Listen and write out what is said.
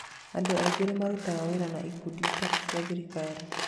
Andũ aingĩ nĩ marutaga wĩra na ikundi itarĩ cia thirikari.